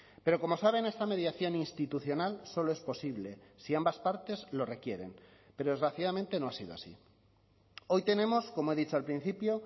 pero como saben esta mediación institucional solo es posible si ambas partes lo requieren pero desgraciadamente no ha sido así hoy tenemos como he dicho al principio